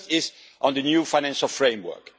The first is on the new financial framework.